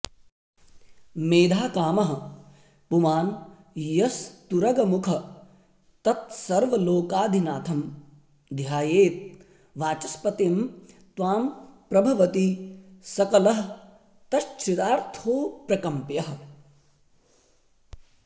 मेधाकामः पुमान् यस्तुरगमुख ततस्सर्वलोकाधिनाथं ध्यायेद्वाचस्पतिं त्वां प्रभवति सकलस्तच्छृतार्थोऽप्रकम्प्यः